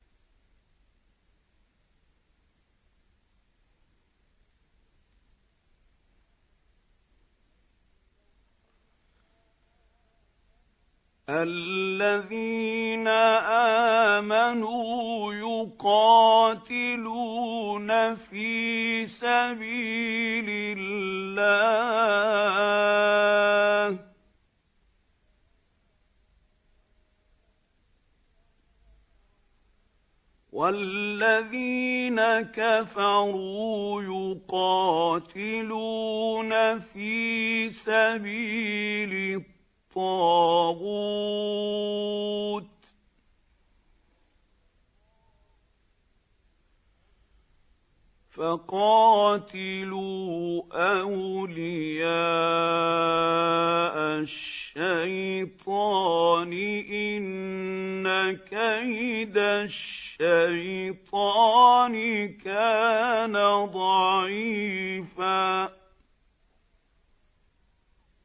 الَّذِينَ آمَنُوا يُقَاتِلُونَ فِي سَبِيلِ اللَّهِ ۖ وَالَّذِينَ كَفَرُوا يُقَاتِلُونَ فِي سَبِيلِ الطَّاغُوتِ فَقَاتِلُوا أَوْلِيَاءَ الشَّيْطَانِ ۖ إِنَّ كَيْدَ الشَّيْطَانِ كَانَ ضَعِيفًا